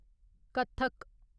Kathak